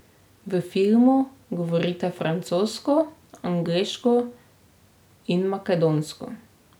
V filmu govorite francosko, angleško in makedonsko.